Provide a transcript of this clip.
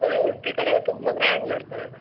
ಅದೇ Udupi ಕಡೆಯೆಲ್ಲ ತುಂಬಾ grand ಮಾಡ್ತಾರೆ ಅಲ್ಲಾ?